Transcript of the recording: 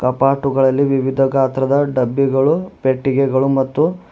ಕಪಾಟುಗಳಲ್ಲಿ ವಿವಿಧ ಗಾತ್ರದ ಡಬ್ಬಿಗಳು ಪೆಟ್ಟಿಗೆಗಳು ಮತ್ತು--